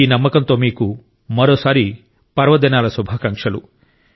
ఈ నమ్మకంతో మీకు మరోసారి పర్వదినాల శుభాకాంక్షలు